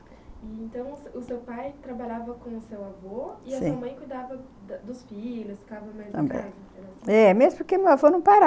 Então, o o se seu pai trabalhava com o seu avô? Sim, e a sua mãe cuidava da dos filhos, ficava mais em casa? é, mesmo porque o meu avô não parava...